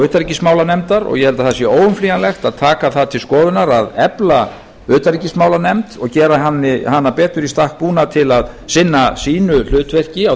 og utanríkismálanefndar og ég held að það sé óumflýjanlegt að taka það til skoðunar að efla utanríkismálanefnd og gera hana betur í stakk búna til að sinna sínu hlutverki á